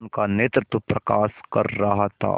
उनका नेतृत्व प्रकाश कर रहा था